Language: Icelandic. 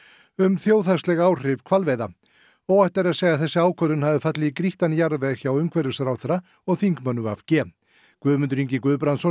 um þjóðhagsleg áhrif hvalveiða óhætt er að segja að þessi ákvörðun hafi fallið í grýttan jarðveg hjá umhverfisráðherra og þingmönnum v g Guðmundur Ingi Guðbrandsson